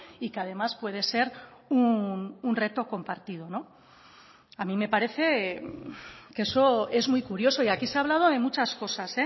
y que además puede ser un reto compartido a mí me parece que eso es muy curioso y aquí se ha hablado de muchas cosas